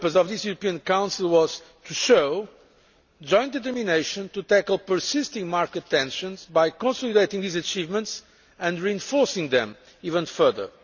main purpose of this European Council was to show our joint determination to tackle persisting market tensions by consolidating these achievements and reinforcing them even further.